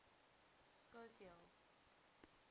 schofield